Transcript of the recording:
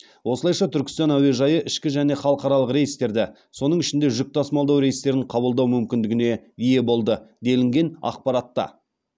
осылайша түркістан әуежайы ішкі және халықаралық рейстерді соның ішінде жүк тасымалдау рейстерін қабылдау мүмкіндігіне ие болды делінген ақпаратта